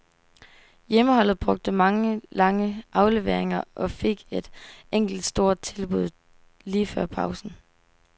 Hjemmeholdet brugte mange lange afleveringer og fik et enkelt stort tilbud lige før pausen.